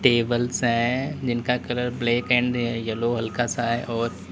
tables है जिनका colour black and yellow हल्का सा है और--